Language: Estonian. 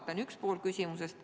See on üks pool küsimusest.